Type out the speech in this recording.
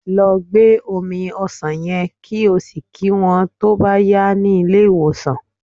Lọ gbé omi ọsàn yen, kí o sì kí wón tó bá yá ní ilé ìwòsàn.